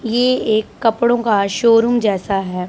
ये एक कपड़ों का शोरूम जैसा है।